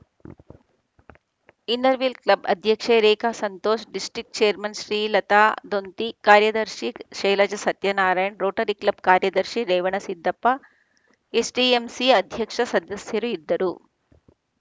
inner wheel club ಅಧ್ಯಕ್ಷೆ Rekha Santosh district chairman Srilatha Donti ಕಾರ್ಯದರ್ಶಿ Shailaja Satyanarayana Rotary club ಕಾರ್ಯದರ್ಶಿ ರೇವಣಸಿದ್ದಪ್ಪ ಎಸ್‌ಡಿಎಂಸಿ ಅಧ್ಯಕ್ಷ ಸದಸ್ಯರು ಇದ್ದರು